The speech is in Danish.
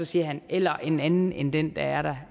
siger eller en anden minister end den der er der